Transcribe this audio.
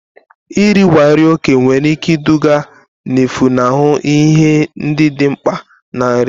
Iribiga nri ókè nwere ike iduga na-efunahụ ihe ndị dị mkpa na nri.